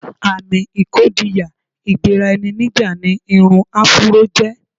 Àmì ìkọdíyà-gbera-ẹni-níjà ni irun afúró jẹ́.